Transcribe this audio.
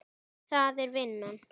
Það er vinnan.